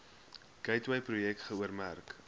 gateway projek geoormerk